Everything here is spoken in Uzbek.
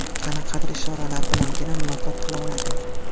Qanaqadir ishoralar bilangina muloqot qila oladi.